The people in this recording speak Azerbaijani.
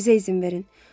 Bizə izin verin.